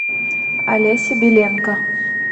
олеся беленко